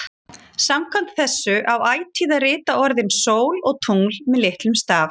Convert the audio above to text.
Þessari spurningu er erfitt að svara á mjög vísindalegan hátt.